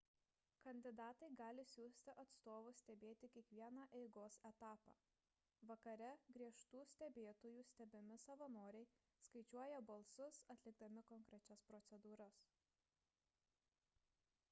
kandidatai gali siųsti atstovus stebėti kiekvieną eigos etapą vakare griežtų stebėtojų stebimi savanoriai skaičiuoja balsus atlikdami konkrečias procedūras